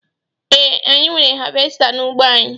Ee, anyị nwere havesta n'ụgbọ anyị